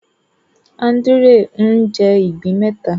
Andrew ń jé ìgbín méta